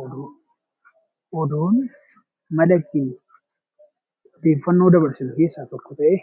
Oduu. Oduun mala ittiin odeeffannoo dabarsinu keessaa tokko ta'ee